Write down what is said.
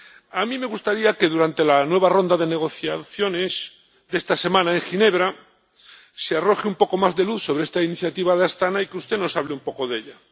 A mí me gustaría que, durante la nueva ronda de negociaciones de esta semana en Ginebra, se arroje un poco más de luz sobre esta iniciativa de Astaná, y que usted nos hable un poco de ella.